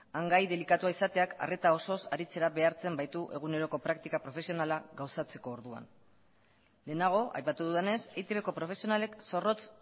hain gai delikatua izateak arreta osoz aritzera behartzen baitu eguneroko praktika profesionala gauzatzeko orduan lehenago aipatu dudanez eitbko profesionalek zorrotz